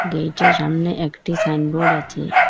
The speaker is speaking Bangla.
গেইটের সামনে একটি সাইনবোর্ড আচে ।